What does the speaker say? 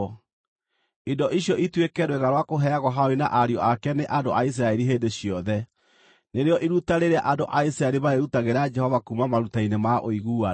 Indo icio ituĩke rwĩga rwa kũheagwo Harũni na ariũ ake nĩ andũ a Isiraeli hĩndĩ ciothe. Nĩrĩo iruta rĩrĩa andũ a Isiraeli marĩrutagĩra Jehova kuuma maruta-inĩ ma ũiguano.